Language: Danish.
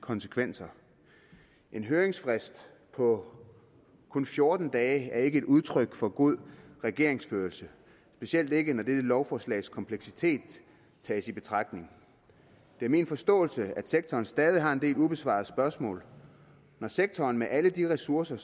konsekvenser en høringsfrist på kun fjorten dage er ikke et udtryk for god regeringsførelse specielt ikke når dette lovforslags kompleksitet tages i betragtning det er min forståelse at sektoren stadig har en del ubesvarede spørgsmål når sektoren med alle de ressourcer